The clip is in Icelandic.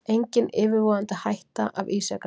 Engin yfirvofandi hætta af ísjakanum